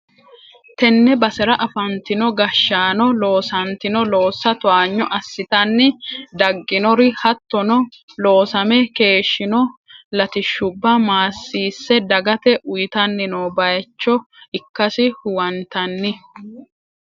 tenne basera afantino gashshaano loosantino loossa towaanyo assitanni dagginori hattono, loosame keeshhsino latishshubba maassisse dagate uytanni noo bayicho ikkasi huwantanni.